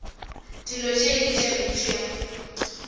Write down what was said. dilo tše ke tše mpsha